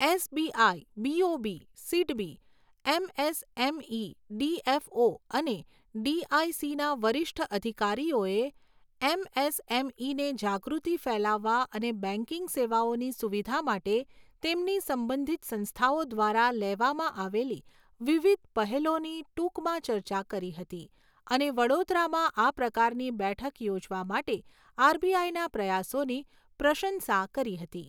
SBI, BOB, SIDBI, MSME DFO અને ડીઆઈસીના વરિષ્ઠ અધિકારીઓએ એમએસએમઇને જાગૃતિ ફેલાવવા અને બેંકિંગ સેવાઓની સુવિધા માટે તેમની સંબંધિત સંસ્થાઓ દ્વારા લેવામાં આવેલી વિવિધ પહેલોની ટૂંકમાં ચર્ચા કરી હતી અને વડોદરામાં આ પ્રકારની બેઠક યોજવા માટે આરબીઆઈના પ્રયાસોની પ્રશંસા કરી હતી.